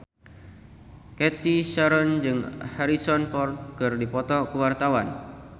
Cathy Sharon jeung Harrison Ford keur dipoto ku wartawan